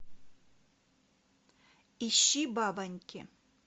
ищи бабоньки